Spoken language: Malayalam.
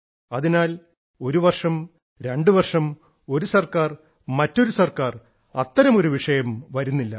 അതിനാൽ ഒരുവർഷം രണ്ടുവർഷം ഒരു സർക്കാർ മറ്റൊരു സർക്കാർ അത്തരമൊരു വിഷയം വരുന്നില്ല